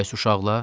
Bəs uşaqlar?